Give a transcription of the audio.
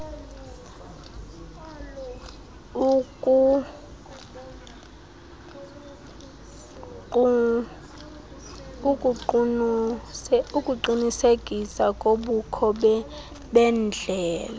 ukuqunisekisa kobukho bendlela